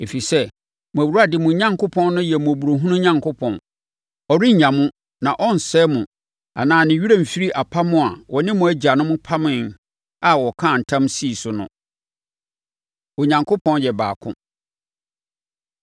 Ɛfiri sɛ, mo Awurade mo Onyankopɔn no yɛ mmɔborɔhunu Onyankopɔn. Ɔrennya mo na ɔrensɛe mo anaa ne werɛ remfiri apam a ɔne mo agyanom pameeɛ a ɔkaa ntam sii so no. Onyankopɔn Yɛ Baako